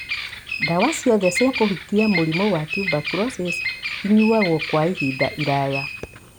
Dawa ciothe cia kũhukia mũrimũ wa tuberculosis inyuagwo kwa ihinda iraya